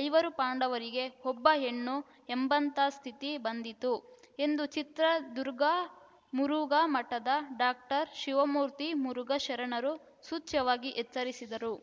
ಐವರು ಪಾಂಡವರಿಗೆ ಒಬ್ಬ ಹೆಣ್ಣು ಎಂಬಂತಹಸ್ಥಿತಿ ಬಂದೀತು ಎಂದು ಚಿತ್ರದುರ್ಗ ಮುರುಘಾ ಮಠದ ಡಾಕ್ಟರ್ ಶಿವಮೂರ್ತಿ ಮುರುಘಾ ಶರಣರು ಸೂಚ್ಯವಾಗಿ ಎಚ್ಚರಿಸಿದರು